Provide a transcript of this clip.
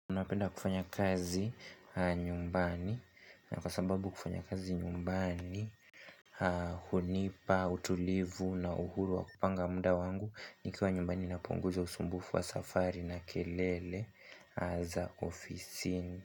Unapenda kufanya kazi nyumbani na kwa sababu kufanya kazi nyumbani hunipa, utulivu na uhuru wa kupanga muda wangu Nikiwa nyumbani napunguza usumbufu wa safari na kelele hasa ofisini.